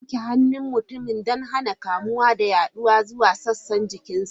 Za a yanke hannun mutumin don hana kamuwa da yaduwa zuwa sassan jikinsa.